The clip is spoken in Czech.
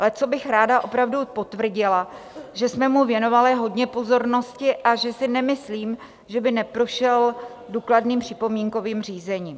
Ale co bych ráda opravdu potvrdila, že jsme mu věnovali hodně pozornosti a že si nemyslím, že by neprošel důkladným připomínkovým řízením.